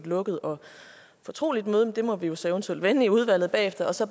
lukket og fortroligt møde men det må vi vi så eventuelt vende i udvalget bagefter så